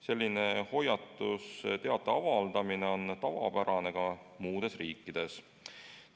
Selline hoiatusteadete avaldamine on tavapärane ka muudes riikides.